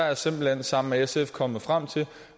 jeg simpelt hen sammen med sf kommet frem til at